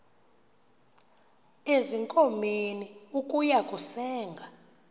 ezinkomeni ukuya kusenga